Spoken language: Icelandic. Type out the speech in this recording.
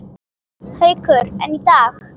Haukur: En í dag?